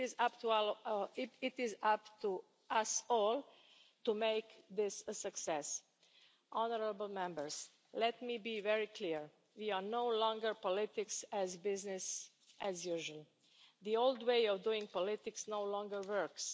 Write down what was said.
It is up to us all to make this a success. Honourable Members, let me be very clear we are no longer politics as business as usual. The old way of doing politics no longer works.